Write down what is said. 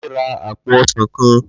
Laide ra àpò ọsàn kan